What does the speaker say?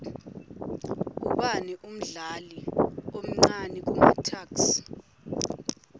ubani umdlali omcani kumatuks